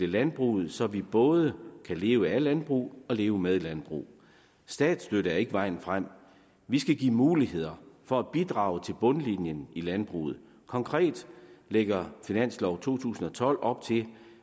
landbruget så vi både kan leve af landbrug og leve med landbrug statsstøtte er ikke vejen frem vi skal give muligheder for at bidrage til bundlinjen i landbruget konkret lægger finanslov to tusind og tolv op til